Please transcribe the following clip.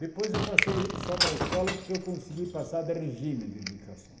Depois eu passei só para a escola porque eu consegui passar da regime de dedicação.